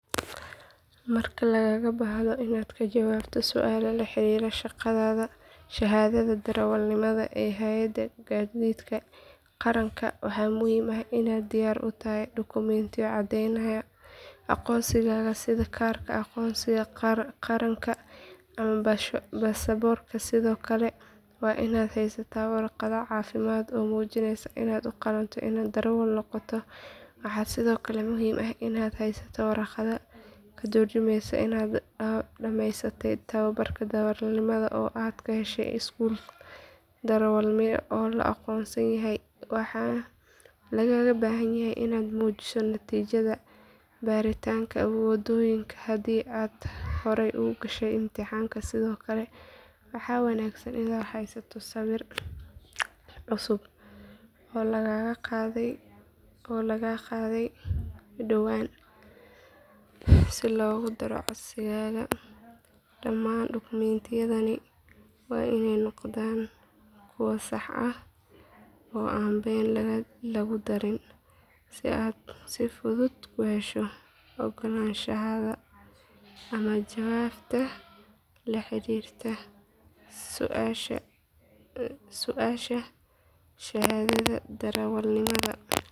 Marka lagaaga baahdo inaad ka jawaabto su’aalo la xiriira shahaadada darawalnimada ee hay’adda gaadiidka qaranka waxaa muhiim ah inaad diyaar u tahay dukumiintiyo caddeynaya aqoonsigaaga sida kaarka aqoonsiga qaranka ama baasaboorka sidoo kale waa in aad haysataa warqadda caafimaadka oo muujinaysa inaad u qalanto inaad darawal noqoto waxaa sidoo kale muhiim ah inaad haysato warqadda ka turjumeysa inaad dhameysatay tababarka darawalnimada oo aad ka heshay iskuul darawalnimo oo la aqoonsan yahay waxaa lagaaga baahanyahay inaad muujiso natiijada baaritaanka wadooyinka haddii aad hore u gashay imtixaanka sidoo kale waxaa wanaagsan inaad haysato sawir cusub oo lagaaga qaaday dhowaan si loogu daro codsigaaga dhammaan dukumiintiyadani waa inay noqdaan kuwo sax ah oo aan been lagu darin si aad si fudud ku hesho oggolaanshaha ama jawaabta la xiriirta su’aasha shahaadada darawalnimada.